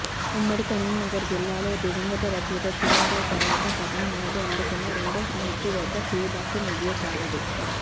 ఉమ్మడి కరీంనగర్ జిల్లాలో దివంగత రచయిత సినారె తర్వాత పద్మ అవార్డు అందుకున్న రెండో సాహితీవేత్త శ్రీభాష్యం విజయసారథి